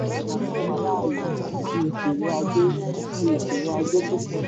di ìṣòro ajé di ìṣòro ajé tó pọ̀.